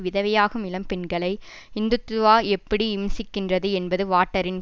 விதவையாகும் இளம்பெண்களை இந்துத்துவா எப்படி இம்சிக்கிறது என்பது வாட்டரின்